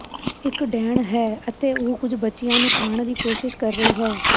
ਇਕ ਡੈਣ ਹੈ ਅਤੇ ਉਹ ਕੁਝ ਬੱਚਿਆਂ ਨੂੰ ਖਾਣ ਦੀ ਕੋਸ਼ਿਸ਼ ਕਰ ਰਹੀ ਹੈ